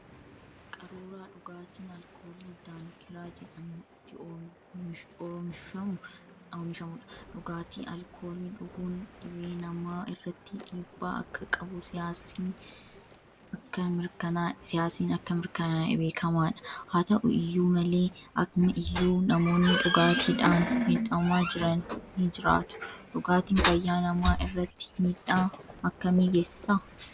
Qaruuraa dhugaatiin alkoolii Daankiiraa jedhamu itti oolishamu dha. Dhugaatii alkoolii dhuguun dhibee namaa irratti dhiibbaa akka qabu saayinsiin akka mirkanaa'e beekamaa dha. Haa ta'u iyyuu malee amma iyyuu namoonni dhugaatiidhaan miidhamaa jiran ni jiraatu. Dhugaatiin fayyaa namaa irratti miidhaa akkamii geesisaa ?